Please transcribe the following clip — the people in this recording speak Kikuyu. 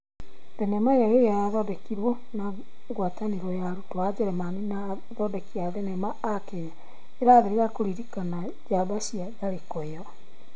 Thenema iyo ĩrĩa yathondekirwo na ngwatanĩro ya arutwo a ũjeremani na athondeki a thinema a Kenya irathĩrĩria kũririkana njamba cia tharĩko ĩyo